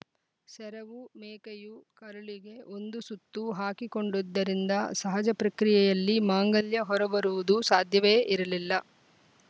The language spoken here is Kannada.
ಸರವು ಮೇಕೆಯು ಕರುಳಿಗೆ ಒಂದು ಸುತ್ತು ಹಾಕಿಕೊಂಡಿದ್ದರಿಂದ ಸಹಜ ಪ್ರಕ್ರಿಯೆಯಲ್ಲಿ ಮಾಂಗಲ್ಯ ಹೊರಬರೋದು ಸಾಧ್ಯವೇ ಇರಲಿಲ್ಲ